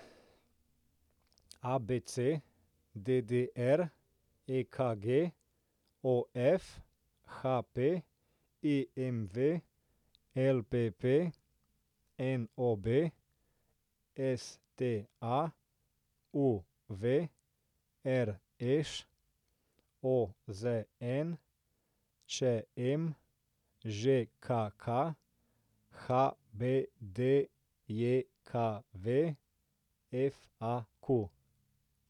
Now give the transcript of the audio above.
ABC, DDR, EKG, OF, HP, IMV, LPP, NOB, STA, UV, RŠ, OZN, ČM, ŽKK, HBDJKV, FAQ.